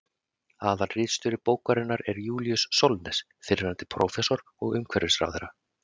Aðalritstjóri bókarinnar er Júlíus Sólnes, fyrrverandi prófessor og umhverfisráðherra.